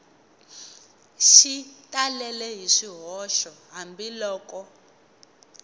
xi talele hi swihoxo hambiloko